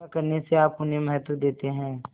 ऐसा करने से आप उन्हें महत्व देते हैं